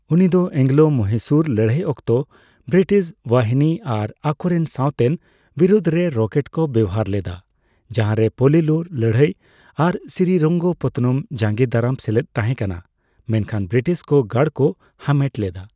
ᱩᱱᱤᱫᱚ ᱮᱹᱝᱞᱳᱼᱢᱚᱦᱤᱥᱩᱨ ᱞᱟᱹᱲᱦᱟᱹᱭ ᱚᱠᱛᱚ ᱵᱨᱤᱴᱤᱥ ᱵᱟᱦᱤᱱᱤ ᱟᱨ ᱟᱠᱚᱨᱮᱱ ᱥᱟᱣᱛᱮᱱ ᱵᱤᱨᱩᱫᱷ ᱨᱮ ᱨᱚᱠᱮᱴ ᱠᱚ ᱵᱮᱣᱦᱟᱨ ᱞᱮᱫᱟ ᱾ ᱡᱟᱦᱟᱨᱮ ᱯᱳᱞᱤᱞᱩᱨ ᱞᱟᱹᱲᱦᱟᱹᱭ ᱟᱨ ᱥᱨᱤᱨᱚᱝᱜᱚᱯᱚᱛᱛᱚᱱᱚᱢ ᱡᱟᱸᱜᱮ ᱫᱟᱨᱟᱢ ᱥᱮᱞᱮᱫ ᱛᱟᱸᱦᱮ ᱠᱟᱱᱟ, ᱢᱮᱱᱠᱷᱟᱱ ᱵᱨᱤᱴᱤᱥ ᱠᱚ ᱜᱟᱲ ᱠᱚ ᱦᱟᱢᱮᱴ ᱞᱮᱫᱟ ᱾